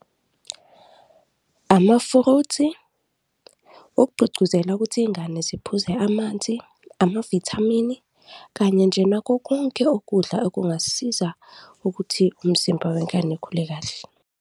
Amafuruthi, ukugqugquzela ukuthi izingane ziphuze amanzi, amavithamini kanye nje nakho konke ukudla okungasiza ukuthi umzimba wengane ukhule kahle.